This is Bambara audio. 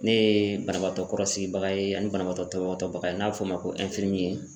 Ne yeee banabaatɔ kɔrɔsigibaga ye ani banabagatɔ tɔbɔtɔbaga ye n'a bɛ f'o ma ko